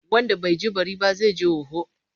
Wanda bai ji bari ba, zai ji hoho.